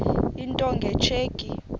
into nge tsheki